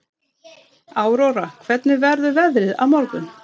Aurora, hvernig verður veðrið á morgun?